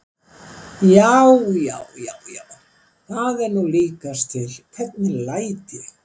JÁ, JÁ, JÁ, JÁ, ÞAÐ ER NÚ LÍKAST TIL, HVERNIG LÆT ÉG!